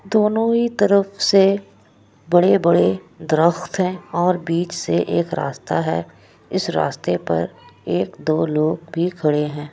दोनों ही तरफ से बड़े-बड़े द्रखत है और बीच से एक रास्ता है इस रास्ते पर एक-दो लोग भी खड़े है।